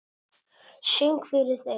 Söng fyrir þau.